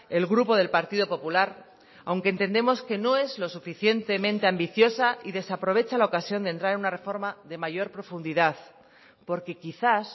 el grupo del partido popular aunque entendemos que no es lo suficientemente ambiciosa y desaprovecha la ocasión de entrar en una reforma de mayor profundidad porque quizás